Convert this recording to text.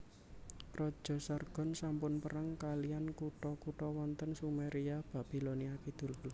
Raja Sargon sampun perang kaliyan kutha kutha wonten Sumeria Babilonia Kidul